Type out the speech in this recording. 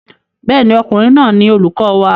Bẹ́ẹ̀ ni, ọkùnrin náà ni olùkọ wa.